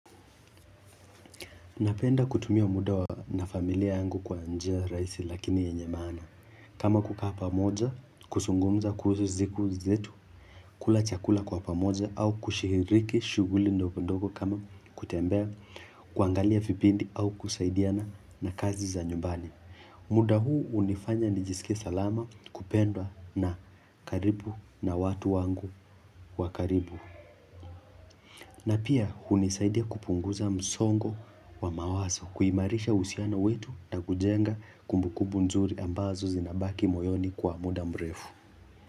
Napenda kutumia muda na familia yangu kwa njia raisi lakini yenye maana. Kama kukaa pamoja, kusungumza kuhusu ziku zetu, kula chakula kwa pamoja au kushihiriki shuguli ndogondogo kama kutembea, kuangalia vipindi au kusaidiana na kazi za nyumbani. Muda huu unifanya nijisike salama kupendwa na karibu na watu wangu wa karibu. Na pia hunisaidia kupunguza msongo wa mawaso kuimarisha usiano wetu na kujenga kumbukubu nzuri ambazo zinabaki moyoni kwa muda mrefu.